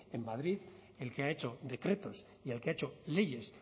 en madrid el que ha hecho decretos y el que ha hecho leyes